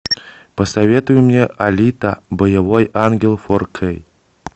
посоветуй мне алита боевой ангел фор кей